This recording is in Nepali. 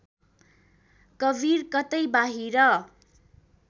कवीर कतै बाहिर